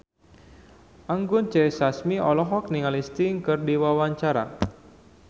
Anggun C. Sasmi olohok ningali Sting keur diwawancara